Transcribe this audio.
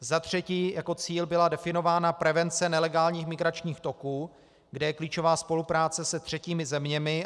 Za třetí, jako cíl byla definována prevence nelegálních migračních toků, kde je klíčová spolupráce se třetími zeměmi.